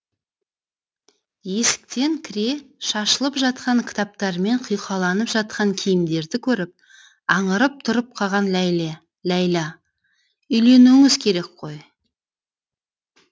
есіктен кіре шашылып жатқан кітаптармен құйқаланып жатқан киімдерді көріп аңырып тұрып қалған ләйла үйленуіңіз керек қой